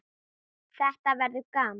Þetta verður gaman